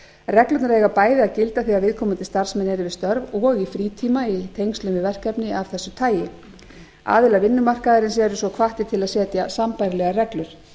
reglurnar eiga bæði að gilda þegar viðkomandi starfsmenn eru við störf og í frítíma í tengslum við verkefni af þessu tagi aðilar vinnumarkaðarins eru svo hvattir til að setja sambærilegar reglur